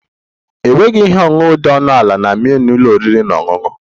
Enweghị ihe ọṅụṅụ dị ọnụ ala na menu ụlọ oriri na ọṅụṅụ